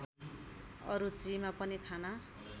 अरुचिमा पनि खाना